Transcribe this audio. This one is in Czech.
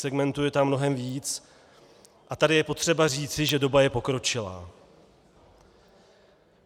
Segmentů je tam mnohem víc a tady je potřeba říci, že doba je pokročilá.